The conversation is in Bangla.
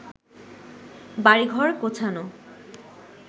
বাড়িঘর গোছানো